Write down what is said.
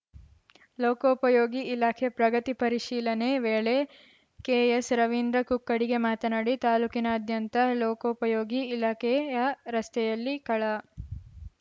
ಲೋಕೋಪಯೋಗಿ ಇಲಾಖೆ ಪ್ರಗತಿ ಪರಿಶಿಲನೆ ವೇಳೆ ಕೆಎಸ್‌ರವೀಂದ್ರ ಕುಕ್ಕುಡಿಗೆ ಮಾತನಾಡಿ ತಾಲೂಕಿನಾದ್ಯಂತ ಲೋಕೋಪಯೋಗಿ ಇಲಾಖೆಯ ರಸ್ತೆಯಲ್ಲಿ ಕಳ